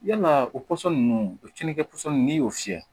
Yalaa o pɔsɔn ninnu o tiɲɛnikɛ pɔsɔni n'i y'o fiyɛ